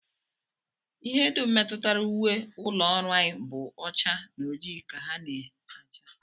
Ihe dum metụtara uwe ụlọọrụ anyị bụ ọcha na ojii ka ha na-acha